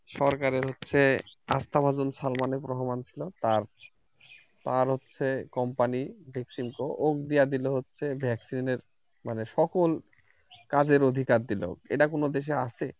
সরকারের হচ্ছে আস্থাভাজন সালমান রহমান ছিলো আর আর হচ্ছে company ভ্যাকসিনকো ও দিয়া দিলো হচ্ছে vaccine এর মানে সকল কাজের অধিকার দিলো এটা কোন দেশে আছে